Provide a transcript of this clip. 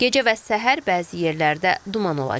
Gecə və səhər bəzi yerlərdə duman olacaq.